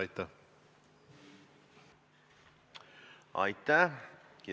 Aitäh!